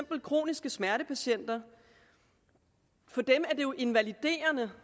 for kroniske smertepatienter er invaliderende